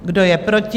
Kdo je proti?